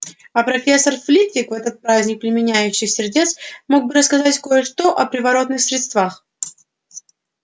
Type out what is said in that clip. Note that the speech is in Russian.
а профессор флитвик в этот праздник пламенеющих сердец мог бы рассказать кое-что о приворотных средствах